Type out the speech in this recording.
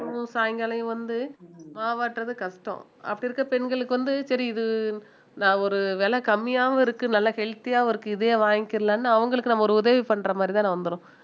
எல்லா பெண்களும் சாயங்காலம் வந்து மாவாட்டுறது கஷ்டம் அப்படி இருக்கிற பெண்களுக்கு வந்து சரி இது நான் ஒரு விலை கம்மியாவும் இருக்கு நல்ல healthy யாவும் இருக்கு இதையே வாங்கிக்கலான்னு அவங்களுக்கு நம்ம ஒரு உதவி பண்ற மாதிரிதானே வந்திரும்